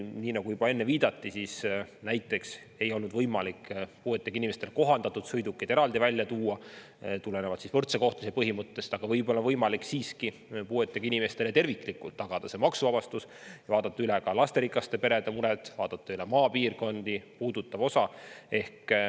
Nii nagu juba enne viidati, ei olnud võimalik puuetega inimestele kohandatud sõidukeid eraldi välja tuua tulenevalt võrdse kohtlemise põhimõttest, aga võib olla siiski võimalik puuetega inimestele terviklikult see maksuvabastus tagada ja vaadata üle ka lasterikaste perede mured, vaadata üle maapiirkondi puudutav osa.